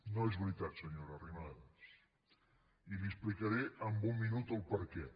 no és veritat senyora arrimadas i li explicaré en un minut el perquè